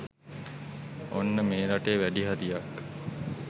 ඔන්න මේ රටේ වැඩි හරියක්